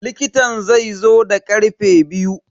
likitan zaizo da karfe biyu.